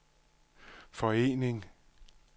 forening